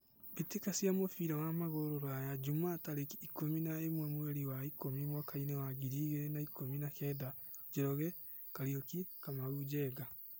Mbĩtĩka cia mũbira wa magũrũ Ruraya Jumaa tarĩki ikũmi na ĩmwe mweri wa ikũmi mwakainĩ wa ngiri igĩrĩ na ikũmi na kenda: Njoroge, Kariuki, Kamau, Njenga.